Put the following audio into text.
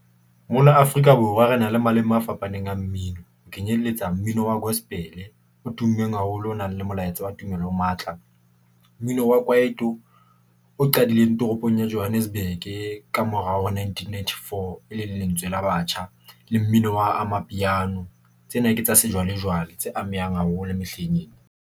Mona Afrika- Borwa re na le maleme a fapaneng a mmino ho kenyelletsa mmino wa gospel o tummeng haholo, o nang le molaetsa wa tumelo o matla. Mmino wa kwaito o qadileng toropong ya Johannesburg - e ka mora ho nineteen, ninety, four. E leng lentswe la batjha le mmino wa amapiano tsena ke tsa sejwalejwale tse amehang haholo mehleng ena.